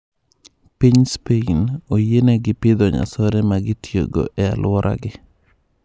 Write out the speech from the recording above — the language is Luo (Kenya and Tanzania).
Piny spain, oyienegi pidho nyasore ma gitiyogo e aluoragi.